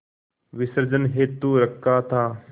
विसर्जन हेतु रखा था